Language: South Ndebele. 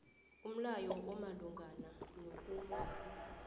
umlayo omalungana nokungabi